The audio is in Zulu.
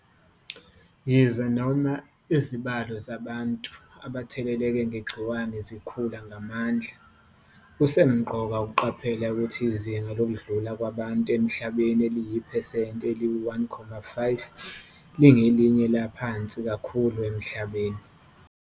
Yize noma, izibalo zabantu abatheleleke ngegciwane zikhula ngamandla, kusemqoka ukuqaphela ukuthi izinga lokudlula kwabantu emhlabeni eliyi-phesenti eyi-1.5 lingelinye laphansi kakhulu emhlabeni.